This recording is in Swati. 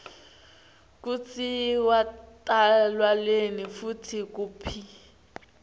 kutsi watalwanini futsi kuphi